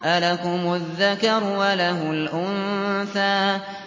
أَلَكُمُ الذَّكَرُ وَلَهُ الْأُنثَىٰ